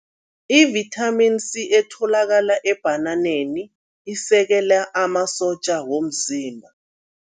I-Vitamin C etholakala ebhananeni isekela amasotja womzimba.